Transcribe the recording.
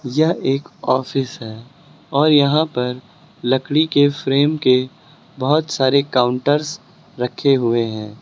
यह एक ऑफिस है और यहां पर लकड़ी के फ्रेम के बहुत सारे काउंटरस रखे हुए हैं।